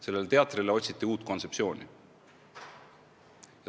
Sellele teatrile otsiti uut kontseptsiooni.